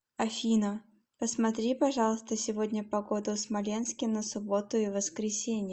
афина посмотри пожалуйста сегодня погоду в смоленске на субботу и воскресенье